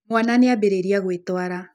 Mwaana nĩ ambĩrĩria gwĩtwara.